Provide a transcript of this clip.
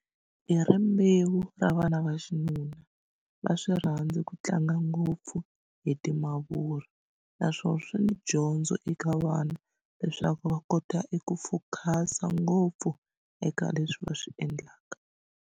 Hi rimbewu ra vana va xinuna va swi rhandzi ku tlanga ngopfu hi timavuri naswona swi ni dyondzo eka vana leswaku va kota eku focus-a ngopfu eka leswi va swi endlaka.